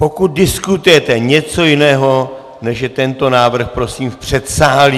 Pokud diskutujete něco jiného, než je tento návrh, prosím v předsálí.